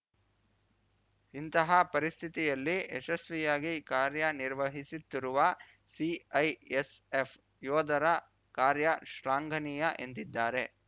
ಇಂತಹ ಪರಿಸ್ಥಿತಿಯಲ್ಲಿ ಯಶಸ್ವಿಯಾಗಿ ಕಾರ್ಯನಿರ್ವಹಿಸುತ್ತಿರುವ ಸಿಐಎಸ್ಎಫ್‌ ಯೋಧರ ಕಾರ್ಯ ಶ್ಲಾಘನೀಯ ಎಂದಿದ್ದಾರೆ